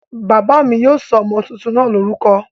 Bàbá mi yóò sọ ọmọ tuntun náà lórúkọ